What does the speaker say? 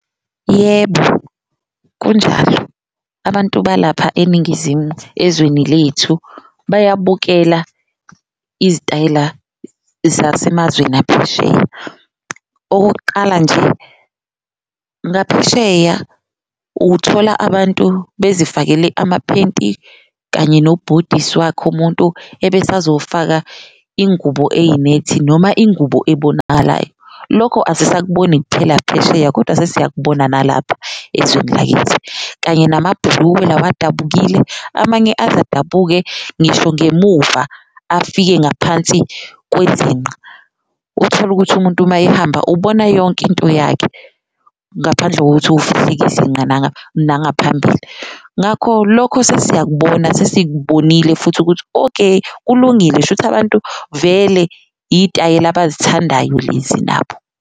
Yebo, kunjalo abantu balapha eNingizimu ezweni lethu bayabukela izitayela zasemazweni aphesheya. Okokuqala, nje ngaphesheya ukuthola abantu besifakele amaphenti kanye nobhodisi wakhe umuntu ebese azofaka ingubo eyinethi noma ingubo ebonakalayo. Lokho asisakuboni kuphela phesheya kodwa sesiyakubona nalapha ezweni lakithi kanye namabhulukwe lawa odabukile, amanye aze adabuke ngisho ngemuva afike ngaphansi kwezinqa. Utholukuthi umuntu uma ehamba ubona yonke into yakhe ngaphandle kokuthi ufihleke izinqa nangaphambili, ngakho lokho sesiyakubona, sesikubonile futhi ukuthi okay kulungile, shuthi abantu vele itayela abazithandayo lezi nabo.